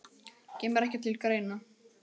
Kemur ekki til greina